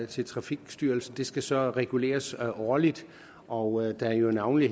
til trafikstyrelsen skal så reguleres årligt og da det navnlig